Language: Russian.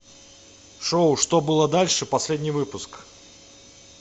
шоу что было дальше последний выпуск